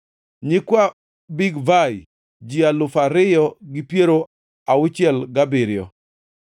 nyikwa Bigvai, ji alufu ariyo gi piero auchiel gabiriyo (2,067),